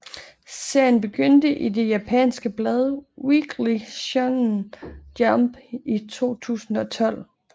Serien begyndte i det japanske blad Weekly Shonen Jump i 2012